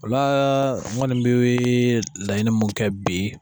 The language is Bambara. O la n kɔni bɛ laɲini mun kɛ bi